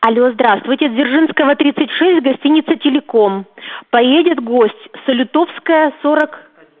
алло здравствуйте дзержинского тридцать шесть гостиница телеком поедет гость салютовская сорок